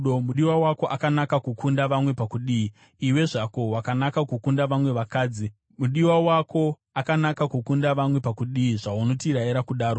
Mudiwa wako akanaka kukunda vamwe pakudii, iwe zvako wakanaka kukunda vamwe vakadzi? Mudiwa wako akanaka kukunda vamwe pakudii, zvaunotirayira kudaro?